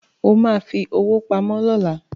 O ma fi owó pamọ́ lọ́la